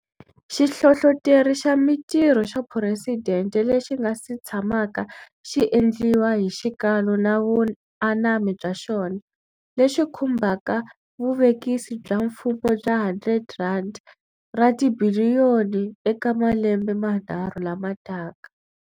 Xihlohloteri xa Mitirho xa Phuresidente lexi nga si tshamaka xi endliwa hi xikalu na vuanami bya xona, lexi khumbaka vuvekisi bya mfumo bya R100 ra tibiliyoni eka malembe manharhu lama taka.